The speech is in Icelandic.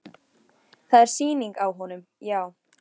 Það er sýning á honum, já.